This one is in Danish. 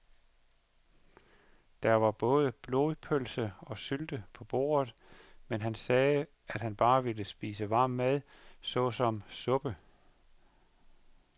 Der var både blodpølse og sylte på bordet, men han sagde, at han bare ville spise varm mad såsom suppe.